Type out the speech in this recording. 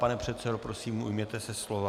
Pane předsedo, prosím, ujměte se slova.